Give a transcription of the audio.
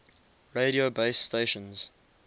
radio base stations